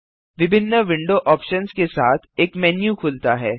विभिन्न window options के साथ एक मेन्यू खुलता है